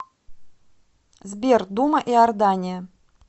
сбер дума иордания